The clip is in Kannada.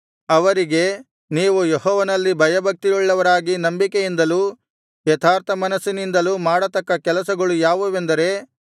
ಅವರಿಗೆ ನೀವು ಯೆಹೋವನಲ್ಲಿ ಭಯಭಕ್ತಿಯುಳ್ಳವರಾಗಿ ನಂಬಿಕೆಯಿಂದಲೂ ಯಥಾರ್ಥಮನಸ್ಸಿನಿಂದಲೂ ಮಾಡತಕ್ಕ ಕೆಲಸಗಳು ಯಾವುದೆಂದರೆ